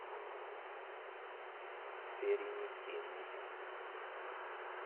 феринихинг